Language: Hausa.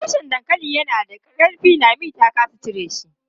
Tushen dankalin yana da ƙarfi, Lami ta ƙasa cire shi.